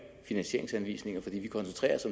finansieringsanvisninger for vi koncentrerer os